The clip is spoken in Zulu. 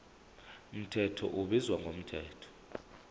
mthetho ubizwa ngomthetho